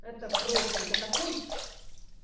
это просто это такой